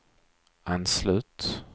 anslut